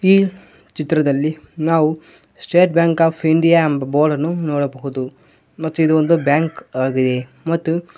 ಈ ಚಿತ್ರದಲ್ಲಿ ನಾವು ಸ್ಟೇಟ್ ಬ್ಯಾಂಕ್ ಆಫ್ ಇಂಡಿಯಾ ಎಂಬ ಬೋಡ್ ಅನ್ನು ನೋಡಬಹುದು ಮತ್ತು ಇದು ಒಂದು ಬ್ಯಾಂಕ್ ಆಗಿದೆ ಮತ್ತು--